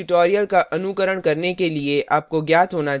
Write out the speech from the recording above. इस tutorial का अनुकरण करने के लिए आपको ज्ञात होना चाहिए